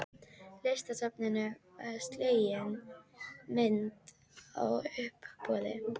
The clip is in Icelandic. Listasafninu var slegin myndin á uppboði.